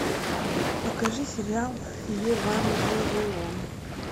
покажи сериал евангелион